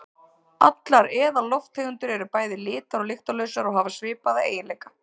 Allar eðallofttegundir eru bæði litar- og lyktarlausar og hafa svipaða eiginleika.